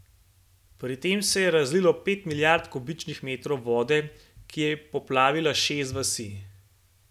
Pri tem se je razlilo pet milijard kubičnih metrov vode, ki je poplavila šest vasi.